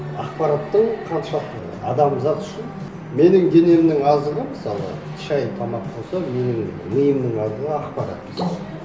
ақпараттың қаншалықты адамзат үшін менің денемнің азығы мысалы шай тамақ болса менің миымның азығы ақпарат